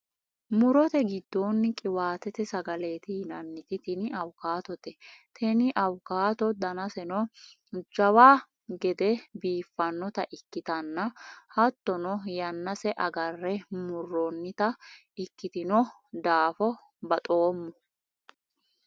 murote giddonni qiwaatete sagaleeti yinanniti tini awukaatote. teni awukaato danaseno jawa gede biiffannota ikkitanna, hattono yannase agarre murroonnita ikkitino daafo baxoommo.